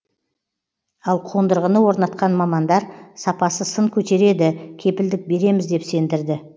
ал қондырғыны орнатқан мамандар сапасы сын көтереді кепілдік береміз деп сендірді